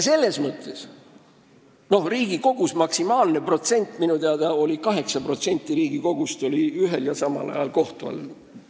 Minu teada on Riigikogus maksimaalne protsent olnud kaheksa, st 8% Riigikogust on ühel ja samal ajal kohtu all olnud.